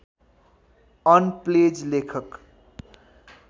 on प्लेज लेखक